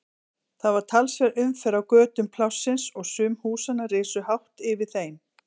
Það var talsverð umferð á götum Plássins og sum húsanna risu hátt yfir þeim.